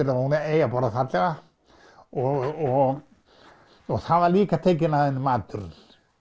að hún eigi að borða fallega og það var líka tekinn af henni maturinn